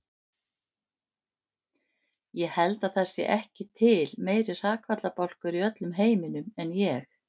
Ég held að það sé ekki til meiri hrakfallabálkur í öllum heiminum en ég.